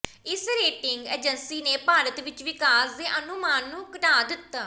ਇਸ rating agency ਨੇ ਭਾਰਤ ਵਿੱਚ ਵਿਕਾਸ ਦੇ ਅਨੁਮਾਨ ਨੂੰ ਘਟਾ ਦਿੱਤਾ